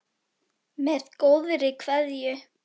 Með góðri kveðju.